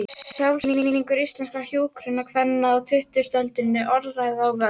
Sjálfsskilningur íslenskra hjúkrunarkvenna á tuttugustu öldinni: Orðræða og völd.